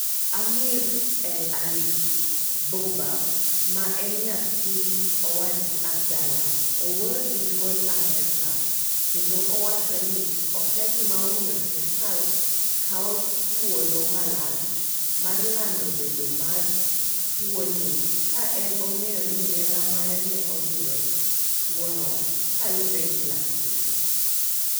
Amri El-Arif Bobah, ma en nyathi owadgi Abdallah owuoyo gi duol Amerika kendo owacha ni okia gima omiyo serkal kawo chuolo malach mar lando bedo mar tuo ni ka en ong'eyo ni nera mare ne oyudo tuwono kaluwore gi laktache.